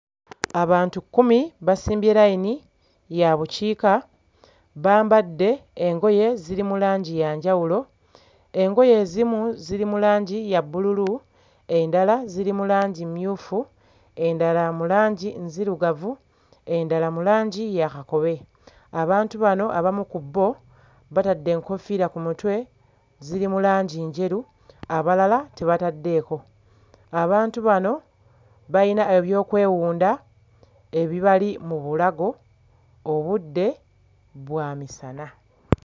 Abantu kkumi basimbye layini ya bukiika bambadde engoye ziri mu langi ya njawulo. Engoye ezimu ziri mu langi ya bbululu endala ziri mu langi mmyufu, endala mu langi nzirugavu, endala mu langi ya kakobe. Abantu bano abamu ku bo batadde enkoofiira ku mutwe ziri mu langi njeru abalala tebataddeeko. Abantu bano bayina ebyokwewunda ebibali mu bulago. Obudde bwa misana.